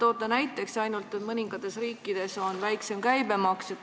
Te toote näiteks, et ainult mõningates riikides on väiksem käibemaks.